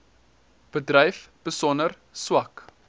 bedryf besonder swak